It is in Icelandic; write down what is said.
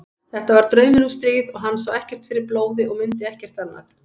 Þetta var draumur um stríð og hann sá ekkert fyrir blóði og mundi ekkert annað.